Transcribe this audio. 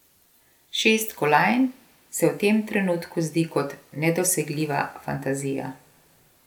Šest kolajn se v tem trenutku zdi kot nedosegljiva fantazija.